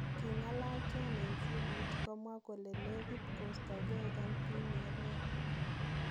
Kigingalal twan en simoit komwaa kole neegiit kostongei MV Nyerere.